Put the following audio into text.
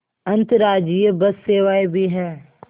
अंतर्राज्यीय बस सेवाएँ भी हैं